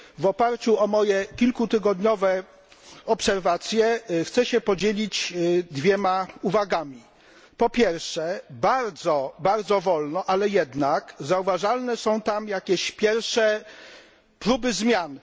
W oparciu o moje kilkutygodniowe obserwacje chciałbym podzielić się dwiema uwagami po pierwsze, bardzo wolno, ale jednak zauważalne są tam jakieś pierwsze próby zmian.